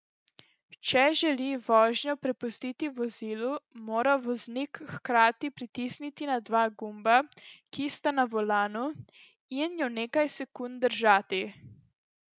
Če želi vožnjo prepustiti vozilu, mora voznik hkrati pritisniti na dva gumba, ki sta na volanu, in ju nekaj sekund držati.